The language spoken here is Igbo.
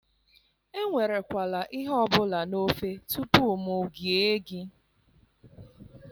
Enwere kwala ihe obula n'ofe tupu mụ gea gị